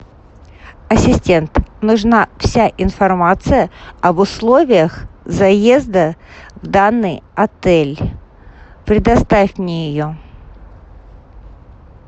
ассистент нужна вся информация об условиях заезда в данный отель предоставь мне ее